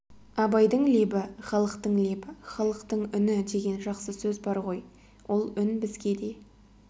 абайдың лебі халықтың лебі халықтың үні деген жақсы сөзі бар ғой ол үн бізге де